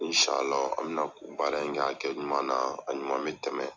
Insalahu an bɛna ko baara in kɛ a kɛ ɲuman na a ɲuman bɛ tɛmɛ